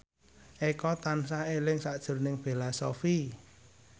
Eko tansah eling sakjroning Bella Shofie